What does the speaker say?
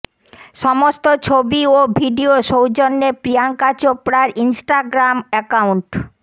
সমস্ত ছবি ও ভিডিও সৌজন্যে প্রিয়ঙ্কা চোপড়ার ইন্সটাগ্রাম অ্যাকাউন্ট